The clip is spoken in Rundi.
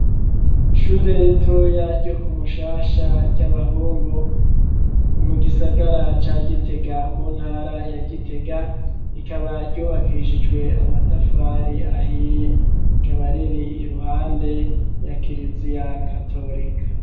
Ishure ritoya ryo ku Mushasha ry'abahungu, mu gisagara ca Gitega mu ntara ya Gitega, rikaba ryubakishijwe amatafari ahiye, rikaba riri iruhande ya kiriziya katolika.